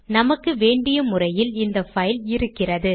நமக்கு வேண்டிய முறையில் இந்த பைல் இருக்கிறது